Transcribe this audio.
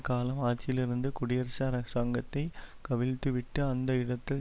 காலம் ஆட்சியிலிருந்து குடியரசு அரசாங்கத்தை கவிழ்த்துவிட்டு அந்த இடத்தில்